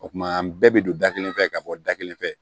O kuma an bɛɛ bɛ don da kelen fɛ ka bɔ da kelen fɛ